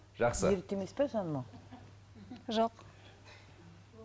жақсы ерте емес пе жаным ау жоқ